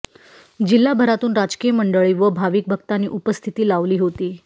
जिल्हाभरातून राजकीय मंडळी व भाविक भक्तांनी उपस्थिती लावली होती